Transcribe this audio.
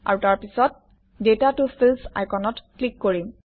আৰু তাৰপিছত ডাটা ত ফিল্ডছ আইকনত ক্লিক কৰিম